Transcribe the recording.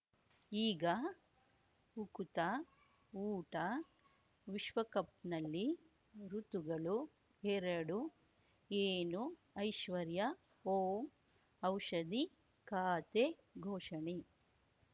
ಈಗ ಉಕುತ ಊಟ ವಿಶ್ವಕಪ್‌ನಲ್ಲಿ ಋತುಗಳು ಎರಡು ಏನು ಐಶ್ವರ್ಯಾ ಓಂ ಔಷಧಿ ಖಾತೆ ಘೋಷಣೆ